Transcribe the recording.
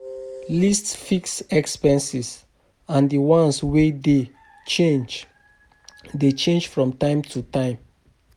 List fixed expenses and di ones wey dey change dey change from time to time